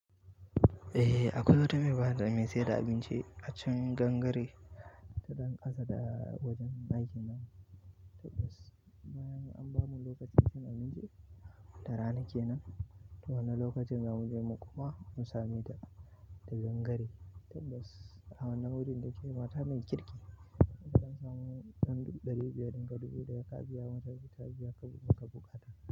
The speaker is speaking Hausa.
Eh akwai wata baiwar Allah mai sayar da abinci a can gangare tana ƙasa da wajen aikin nan. Ta bas bayan an ba mu lokacin cin abinci da rana kenan. Ta wane lokacin zamu je mu kuma musame ta, ta gangare. Tabbas a wannan wurin ne mata mai kirki idan samu ɗan dubu ɗari biyar ɗinka dubu da ya ka biya mata, ta biya ka buƙatar.